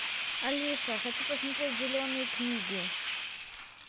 алиса хочу посмотреть зеленую книгу